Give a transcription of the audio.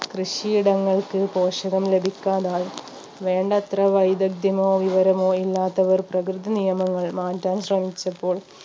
കൃഷിയിടങ്ങൾക്ക് പോഷകം ലഭിക്കാതായി വേണ്ടത്ര വൈദഗ്ദ്യമോ വിവരമോ ഇല്ലാത്തവർ പ്രകൃതി നിയമങ്ങൾ മാറ്റാൻ ശ്രമിച്ചപ്പോൾ